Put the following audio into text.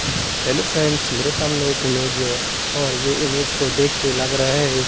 Hello friends मेरे सामने एक इमेज है और ये इमेज को देख के लग रहा है।